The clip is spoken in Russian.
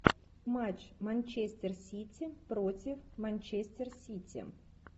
матч манчестер сити против манчестер сити